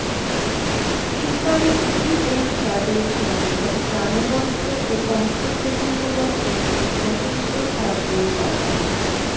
ইফতারে G M Quader সংসদ প্রাণবন্ত ও অংশগ্রহণমূলক করতে সচেষ্ট থাকবে জাপা